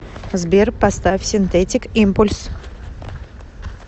сбер поставь синтетик импульс